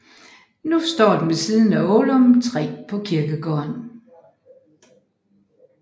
Nu står den ved siden af Ålum 3 på kirkegården